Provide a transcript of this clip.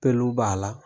Peluw b'a la